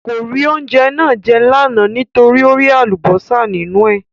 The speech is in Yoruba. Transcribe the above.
Kò rí oúnjẹ náà jẹ́ lánàá nítorí ó rí Àlùbọ́sà nínú ẹ̀